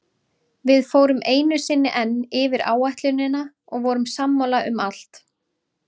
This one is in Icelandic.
Við fórum einu sinni enn yfir áætlunina og vorum sammála um allt.